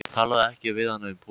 Talaðu ekki við hana um pólitík.